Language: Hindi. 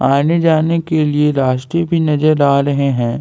आने जाने के लिए रस्ते भी नजर आ रहे है।